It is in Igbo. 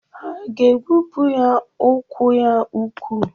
Ha ga-egbupụ ya ụkwụ ya ụkwụ.